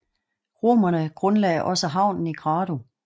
Romerne grundlagde også havnen i Grado